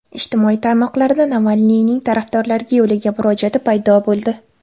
Ijtimoiy tarmoqlarda Navalniyning tarafdorlariga yo‘llagan murojaati paydo bo‘ldi.